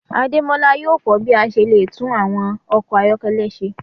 Ademola yóò ko bi a ṣe le tun awọn ọkọ ayọkẹlẹ ṣe